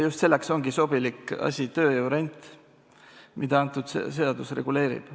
Just selleks ongi sobilik asi tööjõurent, mida see seadus reguleerib.